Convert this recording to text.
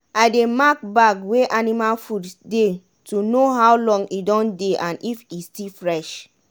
i dey mark bag wey anima food dey to no how long e don dey and if e still fresh.